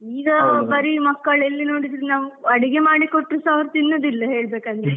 ಈಗ ಮಕ್ಕಳ್ ಎಲ್ಲಿ ನೋಡಿದ್ರೂ ನಾವ್ ಅಡಿಗೆ ಮಾಡಿ ಕೊಟ್ರು ಸಹ ಅವ್ರು ತಿನ್ನುದಿಲ್ಲ ಹೇಳ್ಬೇಕ್ ಅಂದ್ರೆ.